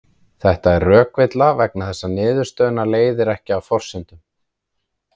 Þetta er rökvilla vegna þess að niðurstöðuna leiðir ekki af forsendunum.